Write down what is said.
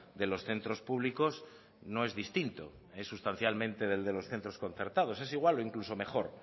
de los centros públicos no es distinto es sustancialmente del de los centros concertados es igual o incluso mejor